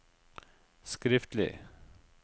skriftlig